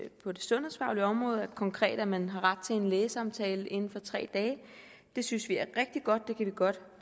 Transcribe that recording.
på det sundhedsfaglige område konkret at man har ret til en lægesamtale inden for tre dage det synes vi er rigtig godt vi godt